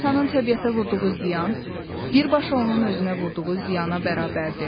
İnsanın təbiətə vurduğu ziyan birbaşa onun özünə vurduğu ziyana bərabərdir.